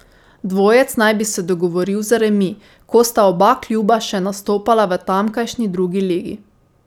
Dvojec naj bi se dogovoril za remi, ko sta oba kluba še nastopala v tamkajšnji drugi ligi.